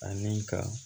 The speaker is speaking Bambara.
Ani ka